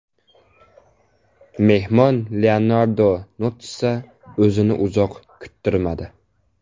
Mehmon Leonardo Notssa o‘zini uzoq kuttirmadi.